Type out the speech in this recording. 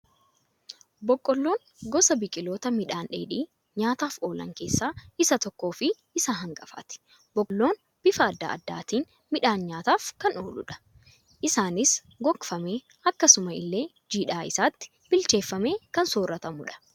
Boqqolloon gosa biqiloota midhaan dheedhii nyaataaf oolan keessaa isa tokko fi isa hangafaati. Boqqolloon bifa addaa addaatiin midhaan nyaataaf kan ooludha. Isaanis gogogfamee, akkasuma illee jiisaa isaatti bilcheeffamee kan sooratamudha.